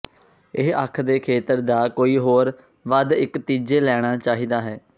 ਇਹ ਅੱਖ ਦੇ ਖੇਤਰ ਦਾ ਕੋਈ ਹੋਰ ਵੱਧ ਇੱਕ ਤੀਜੇ ਲੈਣਾ ਚਾਹੀਦਾ ਹੈ